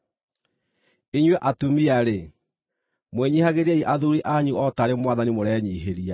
Inyuĩ atumia-rĩ, mwĩnyiihagĩriei athuuri anyu o taarĩ Mwathani mũrenyiihĩria.